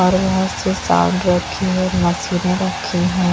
और यहां से साउंड रखी है मशीने रखी है।